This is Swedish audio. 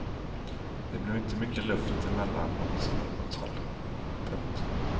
Det blev inte mycket luft emellan åt något håll. punkt